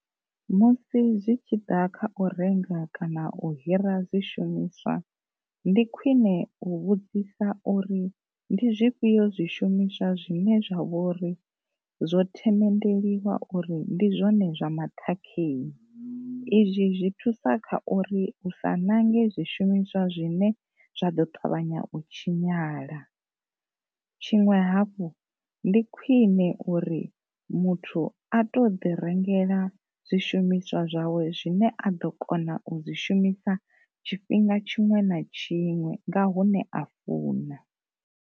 Musi zwi tshi ḓa kha u renga kana u hira zwi shumiswa, ndi khwine u vhudzisa uri ndi zwifhio zwi shumiswa zwine zwa vhouri zwo themendeliwa uri ndi zwone zwa maṱhakheni, izwi zwi thusa kha uri u sa nange zwi shumiswa zwine zwa ḓo ṱavhanya u tshinyala. Tshiṅwe hafhu ndi khwine muthu a to ḓi rengela zwi shumiswa zwawe zwine a ḓo kona u zwi shumisa tshifhinga tshiṅwe na tshiṅwe nga hune a funa.